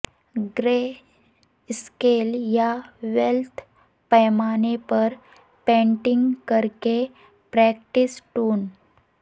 گرے scale یا ویلتھ پیمانے پر پینٹنگ کرکے پریکٹس ٹون